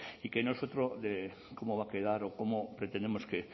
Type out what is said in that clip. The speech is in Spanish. y que no es otro de cómo va a quedar o cómo pretendemos que